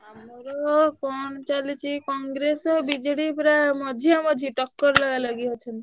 ଆମର କଣ ଚାଲିଛି Congress ଆଉ BJD ପୁରା ମଝିଆମଝି ଟକ୍କର ଲଗାଲଗି ହଉଛନ୍ତି।